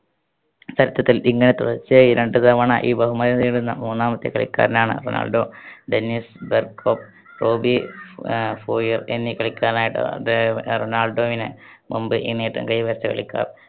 ചരിത്രത്തിൽ ഇങ്ങനെ തുടർച്ചയായി രണ്ട് തവണ ഈ ബഹുമതി നേടുന്ന മൂന്നാമത്തെ കളിക്കാരനാണ് റൊണാൾഡോ. ഡെന്നിസ് ബെർകപ്, റോബി ആഹ് ഫോയർ, എന്നീ കളിക്കാരാണ് റൊണാൾഡോവിന് മുമ്പ് ഈ നേട്ടം കൈവരിച്ച കളിക്കാർ.